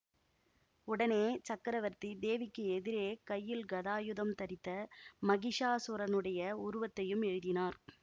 உடனே சக்கரவர்த்தி தேவிக்கு எதிரே கையில் கதாயுதம் தரித்த மகிஷாசுரனுடைய உருவத்தையும் எழுதினார்